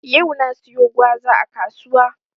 Yau na siyo gwaza a kasuwa.